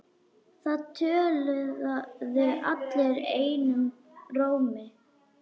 Það töluðu allir einum rómi.